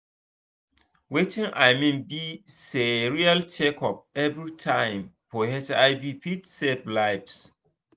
watin i mean be sayreal checkup everytime for hiv fit save lives